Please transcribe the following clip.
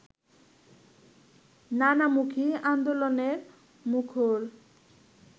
নানামুখী আন্দোলনে মুখর